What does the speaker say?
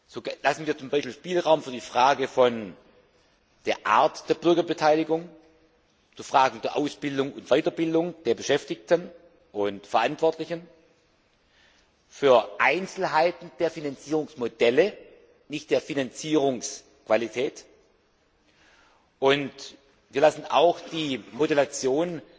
So lassen wir beispielsweise Spielraum bei der Art der Bürgerbeteiligung, bei Fragen der Aus und Weiterbildung der Beschäftigten und Verantwortlichen, für Einzelheiten der Finanzierungsmodelle nicht der Finanzierungsqualität und wir lassen auch die Modulation